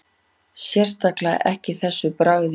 Sérstaklega ekki þessu bragði